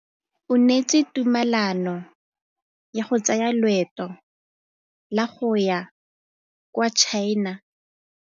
O neetswe tumalanô ya go tsaya loetô la go ya kwa China.